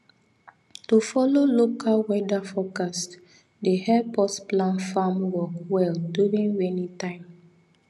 to follow local local weather forecast dey help us plan farm work well during rainy time